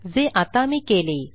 जे आता मी केले